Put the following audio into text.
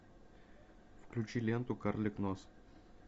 включи ленту карлик нос